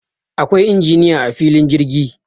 Akwai injiniya a filin jirgi